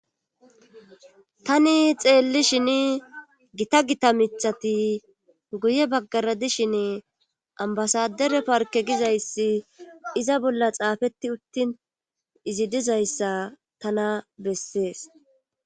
Tani xeelli shini gita gita mithati guye baggara dishin ambasadere parke gizayssi iza bolla xaafetti uttin izi dizayssa tana bessees.